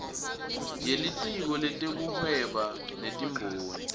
yelitiko letekuhweba netimboni